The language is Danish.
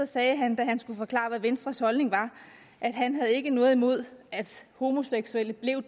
sagde han da han skulle forklare hvad venstres holdning var at han ikke havde noget imod at homoseksuelle blev